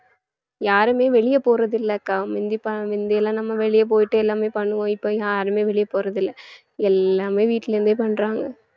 யாருமே வெளியே போறது இல்லை அக்கா முந்தி~ ப~ முந்தி எல்லாம் நம்ம வெளிய போயிட்டு எல்லாமே பண்ணுவோம் இப்ப யாருமே வெளியே போறதில்லை எல்லாமே வீட்டுல இருந்தே பண்றாங்க